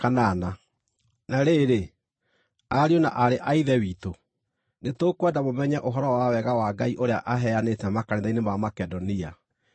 Na rĩrĩ, ariũ na aarĩ a Ithe witũ, nĩtũkwenda mũmenye ũhoro wa Wega wa Ngai ũrĩa aheanĩte makanitha-inĩ ma Makedonia.